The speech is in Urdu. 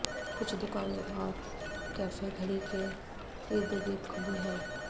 کچھ دکانیں اور کیفے گھڑی کے ارد گرد کھلی ہیں